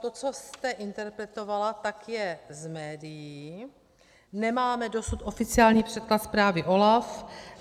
To, co jste interpretovala, tak je z médií, nemáme dosud oficiální překlad zprávy OLAFu.